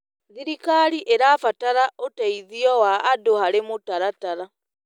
Thirikari ĩrabatara ũteithio wa andũ harĩ mũtaratara.